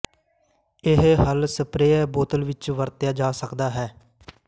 ਇਹ ਹੱਲ ਸਪਰੇਅ ਬੋਤਲ ਵਿਚ ਵਰਤਿਆ ਜਾ ਸਕਦਾ ਹੈ